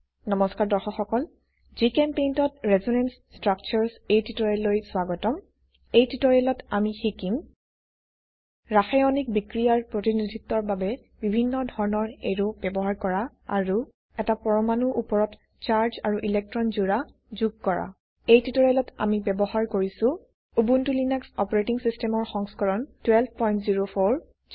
নমস্কাৰ দৰ্শক সকল জিচেম্পেইণ্ট ত ৰেচনেন্স ষ্ট্ৰাকচাৰ্ছ এই টিউটোৰিয়েললৈ স্বাগতম এই টিউটোৰিয়েলত আমি শিকিম ৰাসায়নিক বিক্ৰিয়াৰ প্ৰতিনিধিত্বৰ বাবে বিভিন্ন ধৰনৰ এৰো ব্যবহাৰ কৰা আৰু এটা পৰমাণু উপৰত চাৰ্জ আৰু ইলেক্ট্ৰন জোড়া যোগ কৰা এই টিউটোৰিয়েলত আমি ব্যবহাৰ কৰিছো উবুন্টু লিনাক্স অপাৰেটিং সিস্টেমেৰ সংস্কৰণ 1204